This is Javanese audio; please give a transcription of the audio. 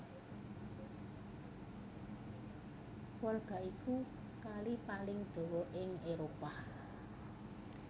Volga iku Kali paling dawa ing Éropah